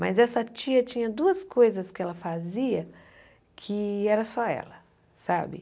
Mas essa tia tinha duas coisas que ela fazia que era só ela, sabe?